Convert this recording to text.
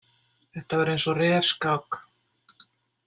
Þetta var eins og refskák.